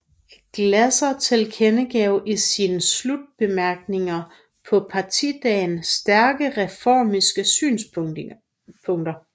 Glaeser tilkendegav i sine slutbemærkninger på partidagen stærke reformistiske synspunkter